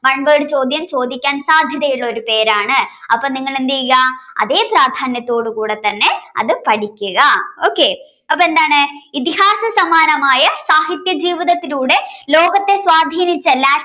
one word ചോദ്യം ചോദിക്കാൻ സാധ്യതയുള്ള ഒരു പേരാണ് അപ്പോൾ നിങ്ങൾ എന്തു ചെയ്യുക അതേ പ്രാധാന്യത്തോടെ കൂടെ തന്നെ അത് പഠിക്കുക okay അപ്പോൾ എന്താണ് ഇതിഹാസ സമാനമായ സാഹിത്യജീവിതത്തിലൂടെ ലോകത്തെ സ്വാധീനിച്ച